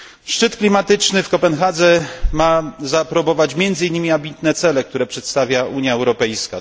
Szczyt klimatyczny w Kopenhadze ma zaaprobować między innymi ambitne cele, które przedstawia Unia Europejska.